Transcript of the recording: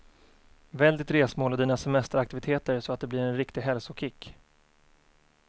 Välj ditt resmål och dina semesteraktiviteter så att det blir en riktig hälsokick.